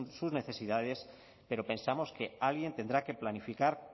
sus necesidades pero pensamos que alguien tendrá que planificar